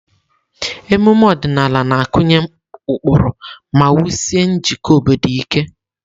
Ememe ọdịnala na-akụnye ụkpụrụ ma wusie njikọ obodo ike.